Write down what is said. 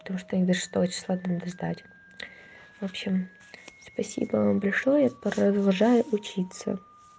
потому что их до шестого числа надо сдать в общем спасибо вам большое я продолжаю учиться